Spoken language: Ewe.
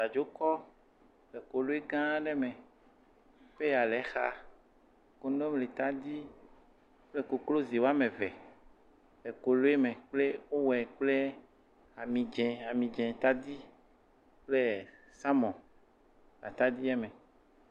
Bladzokɔ le koloe gã aɖe me peya le exa, kontomire kple koklozi woame eve le koloe me eye wowɔe kple ami dzɛ ami dzɛ tadi kple salmɔn le atadie me.